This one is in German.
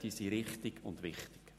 Diese sind richtig und wichtig.